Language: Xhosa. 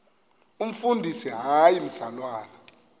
umfundisi hayi mzalwana